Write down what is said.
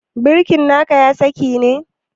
Birki na ka ya kasa ne?